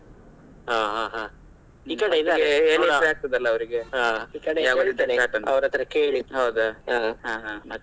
ಹ ಹ ಹ ಈ ಕಡೆ .